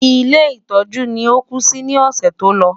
Ilé ìtọ́jú ni ó kú sí ní ọ̀sẹ̀ tó lọ.